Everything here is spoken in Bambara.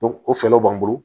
o fɛɛrɛw b'an bolo